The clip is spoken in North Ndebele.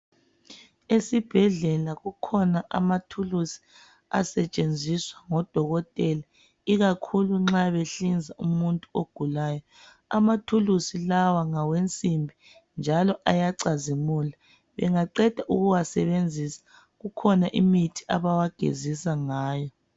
Esibhedlela kukhona amathuluzi asentshenziswa ngodokotela ikakhulu nxa behlinza umuntu ogulayo amathuluzi lawa ngawensimbi njalo ayacazimula bengaqenda ukuwasebenzisa kukhona imithi abawagezisa ngayo